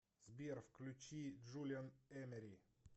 сбер включи джулиан эмери